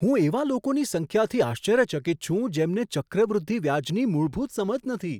હું એવા લોકોની સંખ્યાથી આશ્ચર્યચકિત છું, જેમને ચક્રવૃદ્ધિ વ્યાજની મૂળભૂત સમજ નથી.